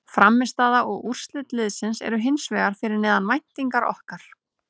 Frammistaða og úrslit liðsins er hins vegar fyrir neðan væntingar okkar.